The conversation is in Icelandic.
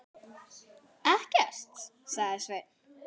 Ekkert, sagði Sveinn.